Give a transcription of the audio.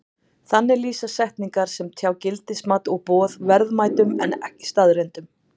Þannig lýsa setningar sem tjá gildismat og boð verðmætum en ekki staðreyndum.